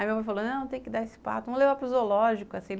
Aí meu pai falou, não, tem que dar esse pato, vamos levar para o zoológico.